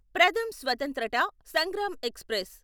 Pratham Swatantrata Sangram express